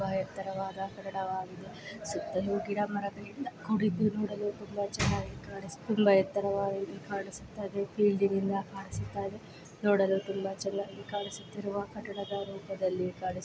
ಬಾ ಎತ್ತರವಾದ ಕಟ್ಟಡವಾಗಿದೆ ಸುತ್ತಲೂ ಗಿಡ ಮರಗಳಿಂದ ಕೂಡಿದ್ದು ನೋಡಲು ತುಂಬಾ ಚೆನ್ನಾಗಿ ಕಾಣುಸ್ತಾ ತುಂಬಾ ಎತ್ತರವಾಗಿ ಕಾಣ್ಸುತ ಇದೆ. ಫೀಲ್ಡ್ ಇಂದ ಕಾಣುಸ್ತಾ ಇದೆ ನೋಡಲು ತುಂಬ ಚೆನ್ನಾಗಿ ಕಾಣುಸ್ತಿರುವ ಕಟ್ಟಡದ ರೂಪದಲ್ಲಿ ಕಾಣು--